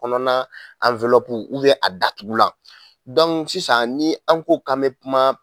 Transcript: Kɔnɔna a datugulan sisan ni an ko k'an be kuma